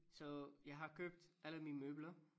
Så jeg har købt alle mine møbler